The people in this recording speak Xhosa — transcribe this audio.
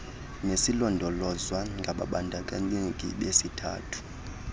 nezilondolozwa ngababandakanyeki besithathu